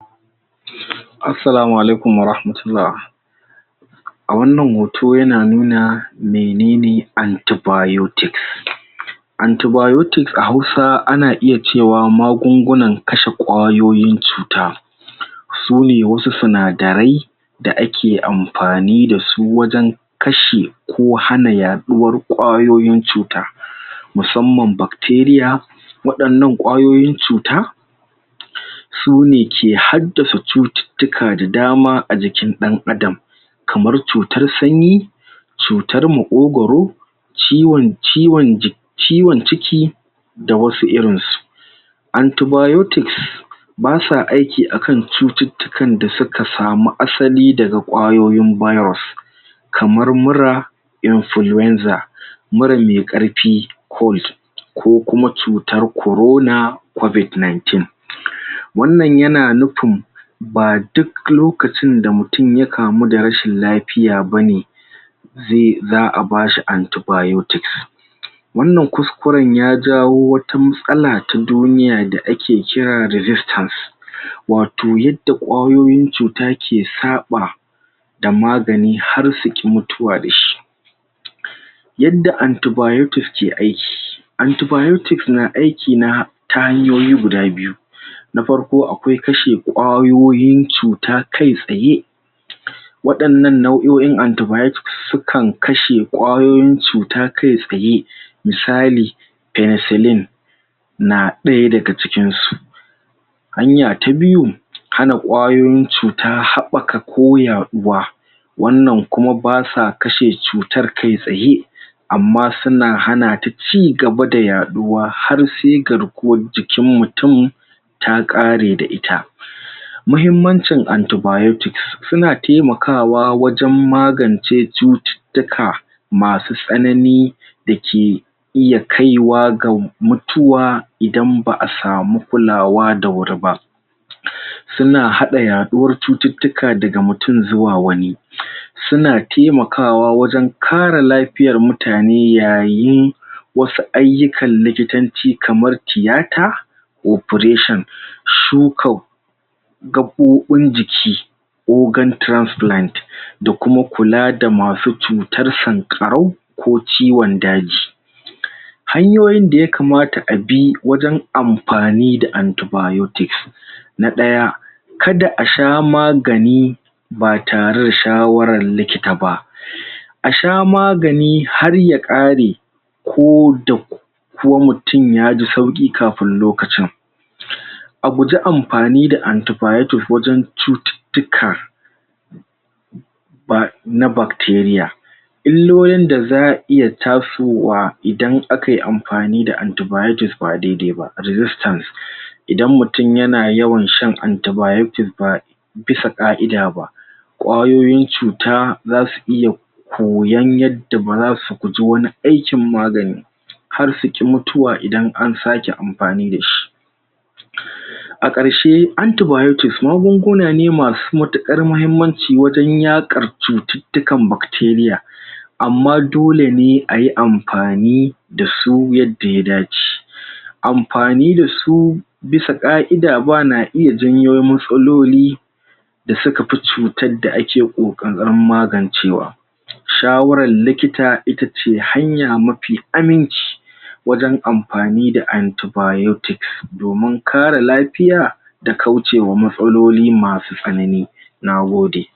Assalamu alaikum warahmatullah a wannan hoto yana nuna mene ne anti-biotics anti-biotics a Hausa ana iya cewa magungunan kashe ƙwayoyin cuta sune wasu sinadarai da ake amfani da su wajen kashe ko hana yaɗuwar ƙwayoyin cuta musamman bacteria waɗannan ƙwayoyin cuta sune ke haddasa cututtuka da dama a jikin ɗan'adam kamar cutar sanyi cutar maƙogwaro ciwon, ciwon ciki da wasu irin su anti-biotics basa aiki a kan cututtukan da suka samu asali daga ƙwayoyin virus kamar mura influeanza mura me ƙarfi cold ko kuma cutar corona covid-nineteen wannan yana nufin a duk lokacin da mutun ya kamu da rashin lafiya bane za'a ba shi anti-biotics wannan kuskuren ya jawo wata matsala ta duniya da ake kira resistance wato yadda ƙwayoyin cuta ke saɓa da magani har su ƙi mutuwa da shi yadda anti-biotics ke aiki anti-biotics na aiki ta hanyoyi guda biyu na farko akwai kashe ƙwayoyin cuta kai tsaye waɗannan nau'oin anti-biotics sukan kashe ƙwayoyin cuta kai tsaye misali penecilin na ɗaya daga cikin su hanya ta biyu hana ƙwayoyin cuta haɓɓaka ko yaɗuwa wannan kuma basa kashe cutar kai tsaye amma suna hana ta cigaba da yaɗuwa har sai garkuwar jikin mutun ta ƙare da ita mahimmancin anti-biotics, suna taimakawa wajen magance cututtuka masu tsanani da ke iya kai wa ga mutuwa idan ba'a samu kulawa da wuri ba suna haɗa yaɗuwar cututtuka daga mutun zuwa wani suna taimakawa wajen kare lafiyar mutane yayin wasu ayyukan likitanci kamar tiyata operations su kau gaɓoɓin jiki organ transplant da kuma kula da masu cutar sanƙarau ko ciwon daji hanyoyin da yakamata abi wajen amfani da anti-biotics na ɗaya kada a sha magani ba tare da shawaran likita ba a sha magani har ya kare ko da ko mutun ya ji sauƙi kafin lokacin a guji amfani da anti-biotic wajen cututtuka ba na bacteria illolin da zai iya tasowa idan akai amfani da anti-biotic ba dai-dai ba resistance idan mutun yana yawan shan anti-biotic ba bisa ƙa'ida ba ƙwayoyin cuta zasu iya koyan yadda ba zasu guji wani aikin magani har su ƙi mutuwa idan an sake amfani da shi a ƙarshe anti-biotics magunguna ne masu matuƙar mahimmanci wajen yaƙar cututtukan bacteria amma dole ne ayi amfani da su yadda ya dace amfani da su bisa ƙa'ida ma na iya janyo matsaloli da suka fi cutar da ake ƙoƙarin magancewa shawaran likita ita ce hanya mafi aminci wajen amfani da anti-biotics, domin kare lafiya da kaucewa matsaloli masu tsanani na gode.